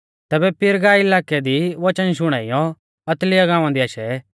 तैबै पिरगा इलाकै दी वचन शुणाइयौ अतलिया गांवा दी आशै